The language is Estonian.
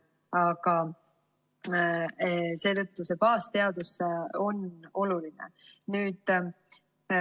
Aga seetõttu on oluline baasteadus.